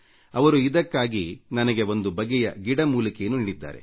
ಅವರು ಇದಕ್ಕಾಗಿ ನನಗೆ ಒಂದು ಬಗೆಯ ಗಿಡ ಮೂಲಿಕೆಯನ್ನು ನೀಡಿದ್ದಾರೆ